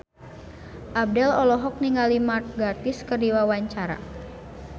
Abdel olohok ningali Mark Gatiss keur diwawancara